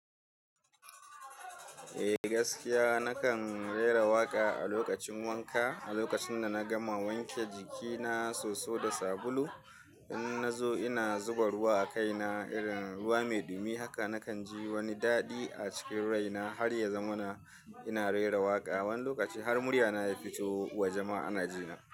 Eh gaskiya nakan rera waƙa a lokacin wanka. A lokacin da na gama wanke jikina soso da sabulu in nazo ina zuba ruwa a kaina irin ruwa mai dumi haka nakan ji wani daɗi a cikin rai na har ya zamana ina rera waƙa. Wani lokaci har murya na ya fito wa jama'a ana ji na.